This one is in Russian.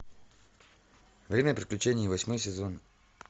время приключений восьмой сезон